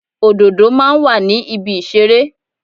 Òdòdó máa ń wà ní ibi ìṣeré.